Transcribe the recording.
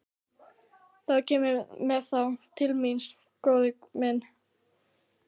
Þá kemurðu með þá til mín, góði minn.